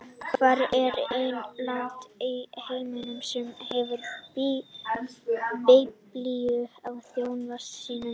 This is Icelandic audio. Hvert er eina landið í heiminum sem hefur biblíu á þjóðfána sínum?